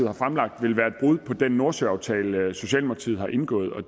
har fremlagt vil være et brud på den nordsøaftale socialdemokratiet har indgået og